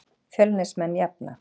Fjölnismenn jafna.